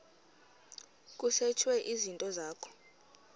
kusetshwe izinto zakho